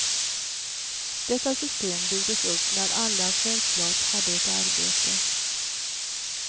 Detta system byggdes upp när alla självklart hade ett arbete.